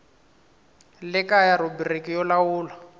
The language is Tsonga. le kaya rhubiriki yo lawula